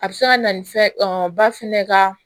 A bɛ se ka na ni fɛn ba fɛnɛ ka